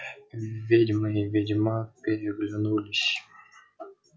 ведьма и ведьмак переглянулись